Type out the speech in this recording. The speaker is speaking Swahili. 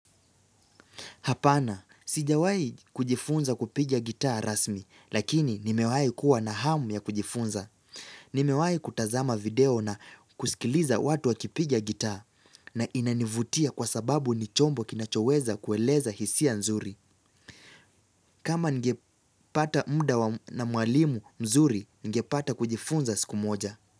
Hapana, sijawai kujifunza kupiga gitaa rasmi, lakini nimewai kuwa na hamu ya kujifunza. Nimewai kutazama video na kusikiliza watu wakipiga gitaa na inanivutia kwa sababu ni chombo kinachoweza kueleza hisia nzuri. Kama ningepata muda na mwalimu mzuri, ningepata kujifunza siku moja.